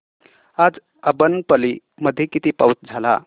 आज अब्बनपल्ली मध्ये किती पाऊस झाला